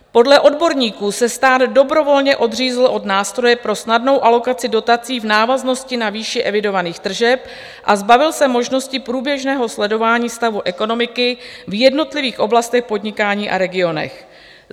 Podle odborníků se stát dobrovolně odřízl od nástroje pro snadnou alokaci dotací v návaznosti na výši evidovaných tržeb a zbavil se možnosti průběžného sledování stavu ekonomiky v jednotlivých oblastech podnikání a regionech.